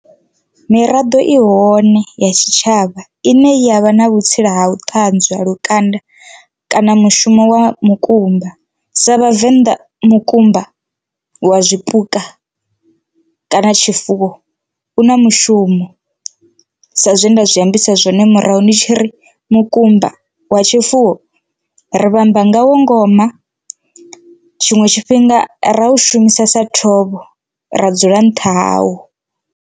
Miraḓo i hone ya tshitshavha ine yavha na vhutsila ha u ṱanzwa lukanda kana mushumo wa mukumba sa vhavenḓa mukumba wa zwipuka kana tshifuwo u na mushumo, sa zwe nda zwi ambisa zwone murahu ndi tshi ri mukumba wa tshifuwo ri vhamba ngawo ngoma tshiṅwe tshifhinga ra u shumisa sa thovho ra dzula nṱha hawo.